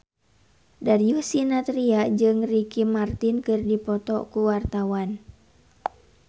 Darius Sinathrya jeung Ricky Martin keur dipoto ku wartawan